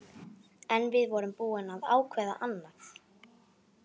En við vorum búin að ákveða annað.